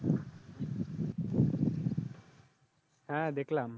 হ্যাঁ দেখলাম